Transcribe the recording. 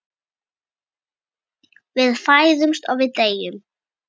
Við fæðumst og við deyjum.